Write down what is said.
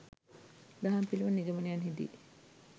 දහම් පිළිබඳ නිගමනයන්හිදී